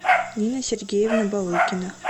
нина сергеевна балыкина